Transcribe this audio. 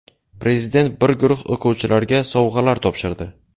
Prezident bir guruh o‘quvchilarga sovg‘alar topshirdi.